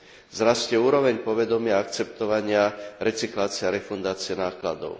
Vzrastie úroveň povedomia a akceptovania recyklácie a refundácie nákladov.